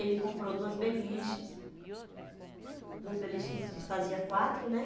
Ele comprou duas beliches, duas beliches, hum, que fazia quatro, né?